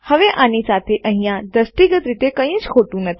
હવે આની સાથે અહીંયા દ્રષ્ટિગત રીતે કઈજ ખોટું નથી